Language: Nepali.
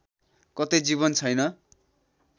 कतै जीवन छैन